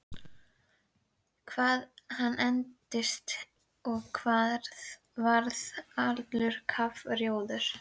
Hvað hann engdist og varð allur kafrjóður!